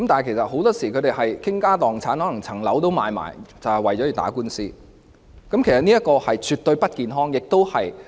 他們很多時候會傾家蕩產，可能連樓宇也要出售，就為了打官司，這情況絕對不健康。